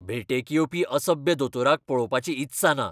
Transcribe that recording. भेटेक येवपी असभ्य दोतोराक पळोवपाची इत्सा ना.